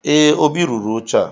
Ee, Obi rụrụ oche a